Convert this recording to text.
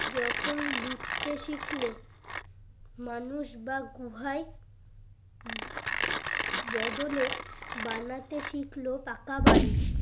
যখন লিখতে শিখলে মানুষ বা গুহায় ব বদলে বানাতে শিখলো পাকা বাড়ি